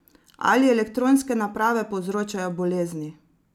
Ali elektronske naprave povzročajo bolezni?